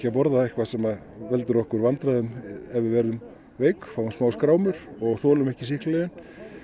að borða eitthvað sem veldur okkur vandræðum ef við verðum veik fáum smá skrámur og þolum ekki sýklalyfin